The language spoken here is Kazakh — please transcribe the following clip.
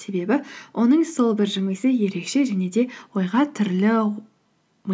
себебі оның сол бір жымиысы ерекше және де ойға түрлі